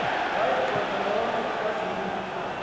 bayigxotha yonke ekazwide